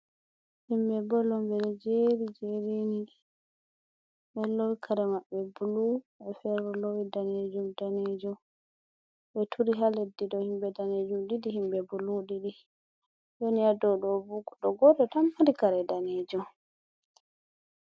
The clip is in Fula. Himɓe bol on ɓe ɗo jeri - jeri ni, ɓe ɗo lowi kare maɓɓe bulu woɓɓe fere lowi danejeum danejum, ɓe turi ha leddi, dou himɓe daneejum ɗiɗi himɓe bulu ɗiɗi, woni ha dou ɗo bo goɗɗo goto tan mari kare daneejum.